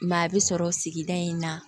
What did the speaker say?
Maa bɛ sɔrɔ sigida in na